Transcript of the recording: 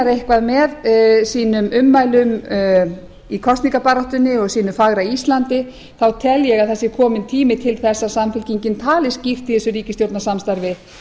eitthvað með sínum ummælum í kosningabaráttunni og sínu fagra íslandi þá tel ég að það sé kominn tími til þess að samfylkingin tali skýrt í þessu ríkisstjórnarsamstarfi